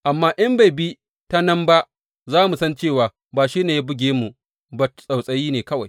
Amma in bai bi ta nan ba, za mu san cewa ba shi ne ya buge mu ba, tsautsayi ne kawai.